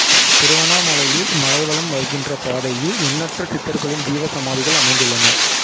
திருவண்ணாமலையில் மலைவலம் வருகின்ற பாதையில் எண்ணற்ற சித்தர்களின் ஜீவசமாதிகள் அமைந்துள்ளன